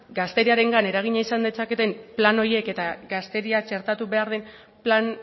gazteriarengan eragina izan dezaketen plan horiek eta gazteria txertatu behar den plan